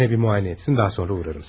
Yine bir muayene etsin, daha sonra uğrarım.